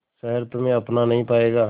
शहर तुम्हे अपना नहीं पाएगा